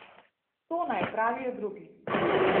To naj opravijo drugi.